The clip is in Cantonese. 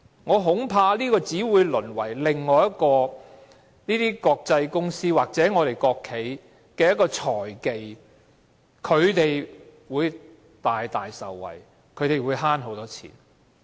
我恐怕這只會淪為另一個國際公司或國企的財技，讓他們大大受惠，節省很多金錢。